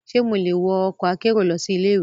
Ṣe mo le wọ ọkọ akero lọsi ile-iwe?